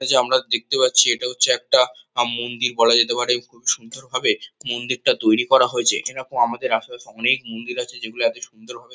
এইযে আমরা দেখতে পাচ্ছি এটা হচ্ছে একটা আম মন্দির বলা যেতে পারে। খুবই সুন্দর ভাবে মন্দিরটা তৈরী করা হয়েছে। এরকম আমাদের আশেপাশে অনেক মন্দির আছে যেগুলো এতো সুন্দর ভাবে--